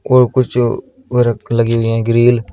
और कुछ वो लगी हुई हैं ग्रिल ।